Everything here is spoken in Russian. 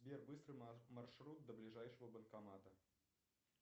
сбер быстрый маршрут до ближайшего банкомата